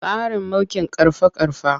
Tsarin mulkin ƙarfa-ƙarfa.